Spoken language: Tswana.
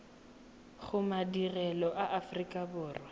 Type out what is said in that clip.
go madirelo a aforika borwa